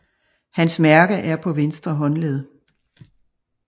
Hans mærke er på ventre håndled